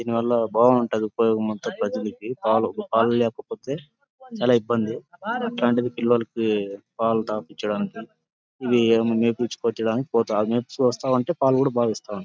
దిని వల్ల బావుంటది ఉపయోగం అంత ప్రజలకి పాలు పాలు లేకపోతే చాల ఇబ్బంది అట్లాంటిది పిల్లలకి పాలు తాపిచ్చడానికి ఇవి మేపిచ్చుకోచ్చేదానికి పోత మేపిచ్చుకొస్తా ఉంటే పాలు కుడా బా ఇస్తా ఉం --